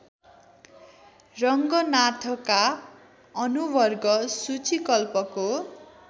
रङ्गनाथका अनुवर्ग सूचीकल्पको